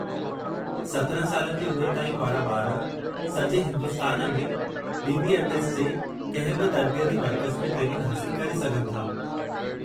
17 सालनि जी उमिरि ताईं वारा ॿार सॼे हिन्दुस्तान में बी.बी.एफ़.एस जे कंहिं बि तर्बीयती मर्कज़ु में ट्रेनिंग हासिलु करे सघनि था।